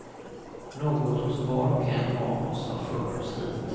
Något hos var och en av oss har fört oss hit.